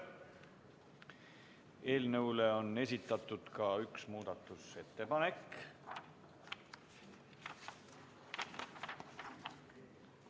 Eelnõule on esitatud ka üks muudatusettepanek.